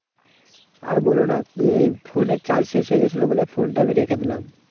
আর বলোনা। ফোনের charge শেষ হয়ে গেছিলো বলে ফোনটা আমি রেখে দিলাম।